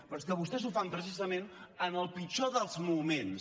però és que vostès ho fan precisament en el pitjor dels moments